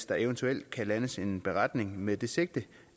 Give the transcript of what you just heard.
der eventuelt kan landes en beretning med det sigte